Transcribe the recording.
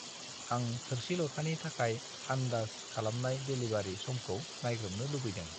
आं थोरसि-लथानि थाखाय आन्दाज खालामनाय डेलिबारि समखौ नायग्रोमनो लुबैदों।